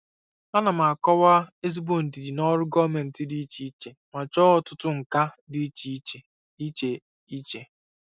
Ana m akọwa n'ezigbo ndidi na ọrụ gọọmentị dị iche iche ma chọọ ọtụtụ nkà dị iche iche. iche iche.